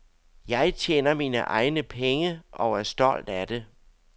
Jeg tjener mine egne penge og er stolt af det.